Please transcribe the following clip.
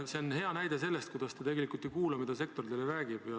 See on hea näide selle kohta, kuidas te tegelikult ei kuula, mida sektor teile räägib.